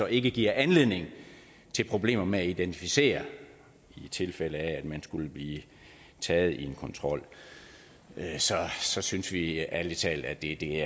ikke giver anledning til problemer med at identificere i tilfælde af at den pågældende skulle blive taget i en kontrol så synes vi ærlig talt at det det